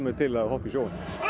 til að hoppa í sjóinn